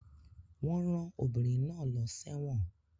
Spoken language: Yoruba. Wọ́n rán obìnrin náà lọ sẹ́wọ̀n